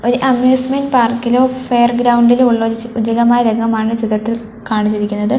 ഒരു അമ്യൂസ്മെൻറ് പാർക്കിലോ ഫെയർ ഗ്രൗണ്ടിലോ ഉള്ള ഒരു ചി രംഗമാണ് ചിത്രത്തിൽ കാണിച്ചിരിക്കുന്നത്.